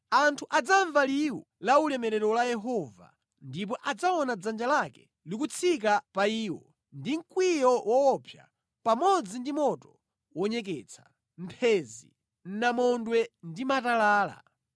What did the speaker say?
Anthu adzamva liwu la ulemerero la Yehova ndipo adzaona dzanja lake likutsika pa iwo ndi mkwiyo woopsa, pamodzi ndi moto wonyeketsa, mphenzi, namondwe ndi matalala.